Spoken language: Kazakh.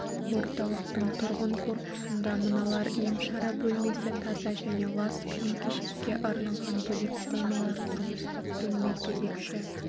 орталықтың тұрғын корпусында мыналар емшара бөлмесі таза және лас киім-кешекке арналған бөлек қоймалар тұрмыстық бөлме кезекші